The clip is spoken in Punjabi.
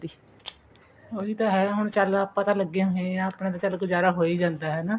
ਉਹੀ ਤਾਂ ਹੈ ਚਲ ਆਪਾਂ ਤਾਂ ਲੱਗੇ ਹੋਏ ਹਾਂ ਆਪਣਾ ਤਾਂ ਚਲ ਗੁਜ਼ਾਰਾ ਹੋਈ ਜਾਂਦਾ ਹਨਾ